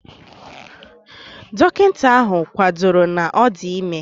Dọkịta ahụ kwadoro na ọ dị ime